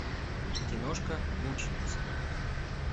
киношка мученицы